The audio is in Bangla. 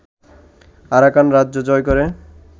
আরাকান রাজ্য জয় করে